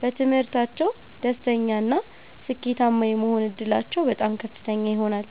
በትምህርታቸው ደስተኛና ስኬታማ የመሆን ዕድላቸው በጣም ከፍተኛ ይሆናል።